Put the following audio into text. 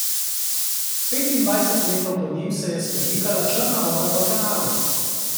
Petindvajset metrov pod njim se je svetlikala črna voda v kanalu.